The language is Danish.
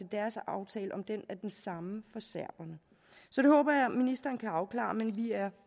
deres aftale er den samme for serberne så det håber jeg ministeren kan afklare men vi er